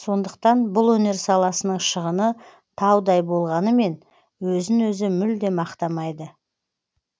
сондықтан бұл өнер саласының шығыны таудай болғанымен өзін өзі мүлдем ақтамайды